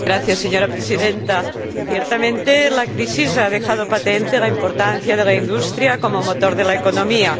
Señora Presidenta, ciertamente la crisis ha dejado patente la importancia de la industria como motor de la economía.